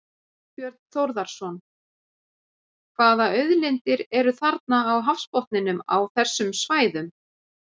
Þorbjörn Þórðarson: Hvaða auðlindir eru þarna á hafsbotninum á þessum svæðum?